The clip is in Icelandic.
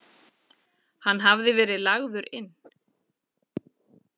Hann hafði verið lagður inn.